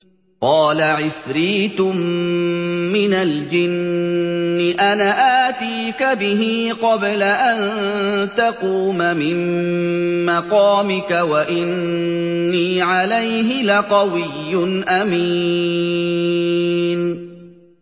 قَالَ عِفْرِيتٌ مِّنَ الْجِنِّ أَنَا آتِيكَ بِهِ قَبْلَ أَن تَقُومَ مِن مَّقَامِكَ ۖ وَإِنِّي عَلَيْهِ لَقَوِيٌّ أَمِينٌ